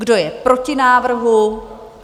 Kdo je proti návrhu?